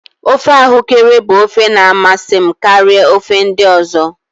ofe ahuekere bụ ofe na amasị karịa ofe ndị ọzọ